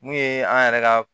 Mun ye an yɛrɛ ka